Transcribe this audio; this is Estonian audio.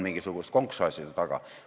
Mingisugust konksu aeti taga.